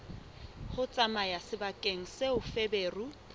ho tsamaya sebakeng seo feberu